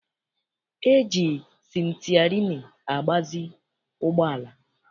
E ji sịtịarịnị agbazi ụgbọala.